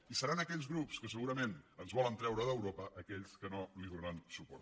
i seran aquells grups que segurament ens volen treure d’europa aquells que no hi donaran suport